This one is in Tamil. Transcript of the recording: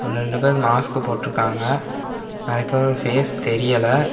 ஒன்னு ரண்டு பேரு மாஸ்க் போட்ருக்காங்க நறைய பேரோட ஃபேஸ் தெரியல.